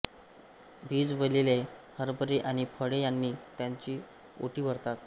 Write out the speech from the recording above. भिजविलेले हरभरे आणि फळे यांनी त्यांची ओटी भरतात